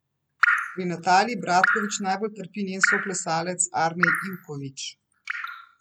Pri Nataliji Bratkovič bolj trpi njen soplesalec Arnej Ivkovič.